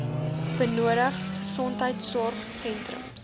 benodig gesondheidsorg sentrums